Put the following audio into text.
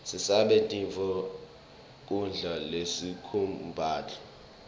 sisabe tifo nqgkudla lesikublako